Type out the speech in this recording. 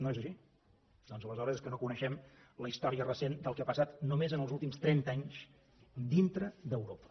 no és així doncs aleshores és que no coneixem la història recent del que ha passat només en els últims trenta anys dintre d’europa